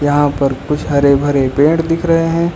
यहां पर कुछ हरे भरे पेड़ दिख रहे हैं।